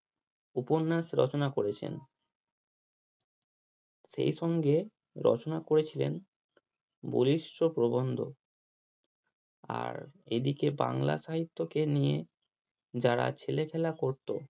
উপন্যাস রচনা করেছেন সেই সঙ্গে রচনা করেছিলেন প্রবন্ধ আর এদিকে বাংলা সাহিত্যকে নিয়ে যারা ছেলে খেলা করতো